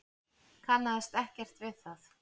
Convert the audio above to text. Kannaðist ekkert við það.